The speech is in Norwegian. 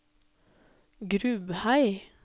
Grubhei